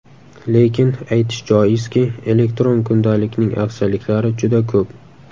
Lekin aytish joizki, elektron kundalikning afzalliklari juda ko‘p.